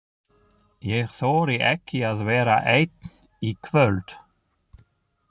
Ég þori ekki að vera einn í kvöld.